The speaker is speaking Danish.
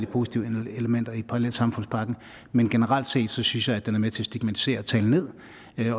positive elementer i parallelsamfundspakken men generelt set synes jeg den er med til at stigmatisere og tale ned